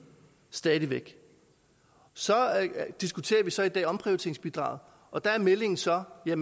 stadig væk så diskuterer vi så i dag omprioriteringsbidraget og der er meldingen så at